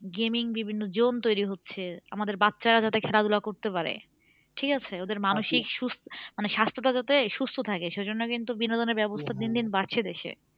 Gaming বিভিন্ন zone তৈরি হচ্ছে আমাদের বাচ্ছারা যাতে খেলাধুলা করতে পারে ঠিক আছে ওদের মানসিক সুস্থ মানে স্বাস্থ্যটা যাতে সুস্থ থাকে সে জন্য কিন্তু বিনোদনের ব্যাবস্থা দিন দিন বাড়ছে দেশে।